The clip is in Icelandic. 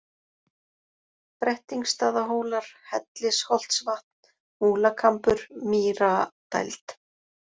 Brettingsstaðahólar, Hellisholtsvatn, Múlakambur, Mýradæld